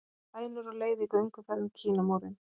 Hænur á leið í gönguferð um Kínamúrinn